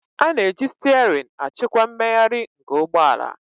A na-eji steering achịkwa mmegharị nke ụgbọ ala